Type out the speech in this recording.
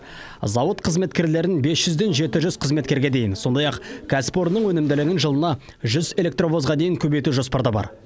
зауыт қызметкерлерін бес жүзден жеті жүз қызметкерге дейін сондай ақ кәсіпорынның өнімділігін жылына жүз электровозға дейін көбейту жоспарда бар